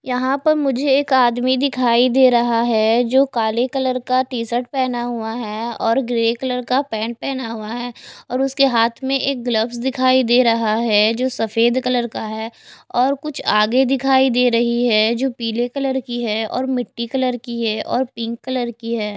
यहाँ पर मुझे एक आदमी दिखाई दे रहा है जो काले कलर का टी शर्ट पेहना हुआ है और ग्रे कलर का पैंट पेहना हुआ है और उसके हाथ में एक ग्लव्स दिखाई दे रहा है जो सफ़ेद कलर का है और कुछ आगे दिखाई दे रही है जो पीले कलर की है और मिट्टी कलर की है और पिंक कलर की है।